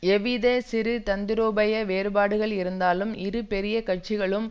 எவ்வித சிறு தந்திரோபாய வேறுபாடுகள் இருந்தாலும் இரு பெரிய கட்சிகளும்